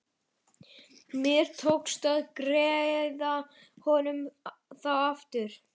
Mér tókst að greiða honum þá aftur.